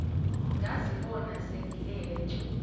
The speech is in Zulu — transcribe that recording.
ngazibona sengilele cu